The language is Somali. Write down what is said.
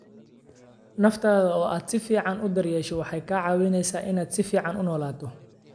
Naftaada oo aad si fiican u daryeesho waxay kaa caawinaysaa inaad si fiican u noolaato.